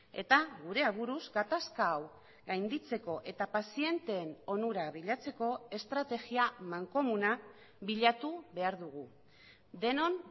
eta gure aburuz gatazka hau gainditzeko eta pazienteen onura bilatzeko estrategia mankomuna bilatu behar dugu denon